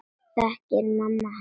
Þekkir mamma hann?